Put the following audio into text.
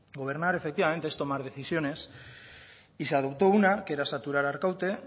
gobernar efectivamente es tomar decisiones y se adoptó una que era saturar arkaute